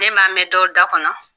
Ne m'a mɛn dɔ da kɔnɔ